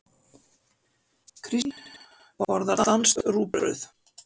Kristín borðar danskt rúgbrauð.